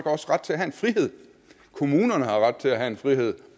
også ret til at have en frihed kommunerne har ret til at have en frihed